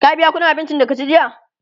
ka biya ƙuɗin abincin da ka ci jiya?